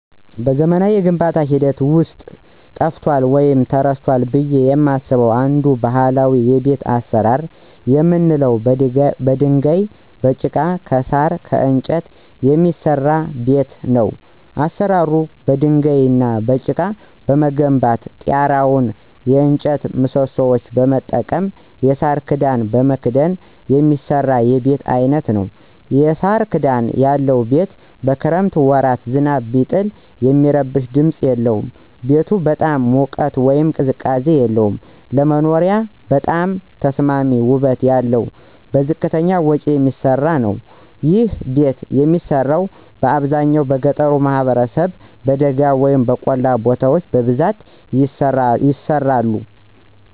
በዘመናዊ የግንባታ ሂደት ውስጥ ጠፍቷል ወይም ተረስቷል ብየ የማስበው አንድ ባህላዊ የቤት አሰራር የምንለው በድንጋይ፣ በጭቃ፣ ከሳር፣ ከእንጨት የሚሰራ ቤት ነው። አሰራሩም በድንጋይ እና በጭቃ በመገንባት ጤራውን የእጨት ምሰሶዎች በመጠቀም የሳር ክዳን በመክደን የሚሰራ የቤት አይነት ነዉ። የሳር ክዳን ያለው ቤት በክረምት ወራት ዝናብ ቢጥል የሚረብሽ ድምፅ የለውም። ቤቱ በጣም ሙቀት ወይም ቅዝቃዜ የለውም። ለመኖሪያነት በጣም ተስማሚ ውበት ያለው በዝቅተኛ ወጭ የሚሰራ ነዉ። ይህ ቤት የሚሰራው በአብዛኛው በገጠሩ ማህበረሰብ በደጋ ወይም በቆላማ ቦታዎች በብዛት ይሰራሉ።